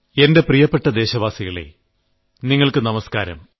എന്റെ പ്രിയപ്പെട്ട ദേശവാസികളേ നിങ്ങൾക്ക് നമസ്ക്കാരം